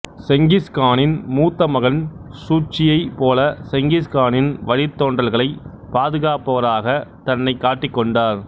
Genghis கானின் மூத்தமகன் சூச்சியைப் போல செங்கிஸ் கானின் வழித்தோன்றல்களை பாதுகாப்பவராக தன்னைக் காட்டிக் கொண்டார்